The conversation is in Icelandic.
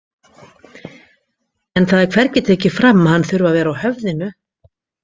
En það er hvergi tekið fram að hann þurfi að vera á höfðinu!